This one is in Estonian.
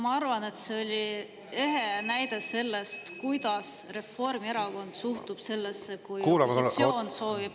Ma arvan, et see oli ehe näide sellest, kuidas Reformierakond suhtub sellesse, kui opositsioon soovib …